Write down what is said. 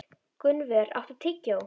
Gunnvör, áttu tyggjó?